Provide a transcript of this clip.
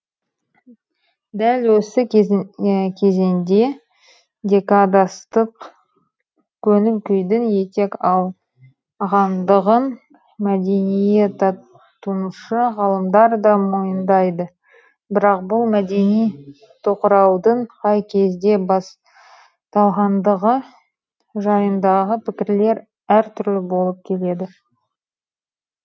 дәл осы кезеңде декадастық көңіл күйдің етек алғандығын мәдениеттанушы ғалымдар да мойындайды бірақ бұл мәдени тоқыраудың қай кезде басталғандығы жайындағы пікірлер әртүрлі болып келеді